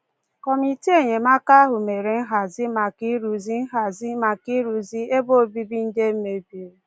Kọmitii enyemaka ahụ mere nhazi maka ịrụzi nhazi maka ịrụzi ebe obibi ndị e mebiri.